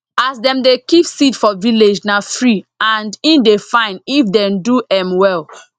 as dem dey keep seed for village na free and e dey fine if dem do m well